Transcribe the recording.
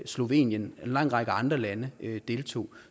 slovenien en lang række andre lande deltog